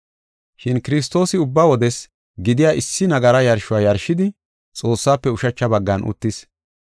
Shin Kiristoosi ubba wodes gidiya issi nagara yarshuwa yarshidi, Xoossaafe ushacha baggan uttis.